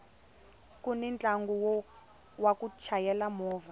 kuni ntlangu wa ku chayela movha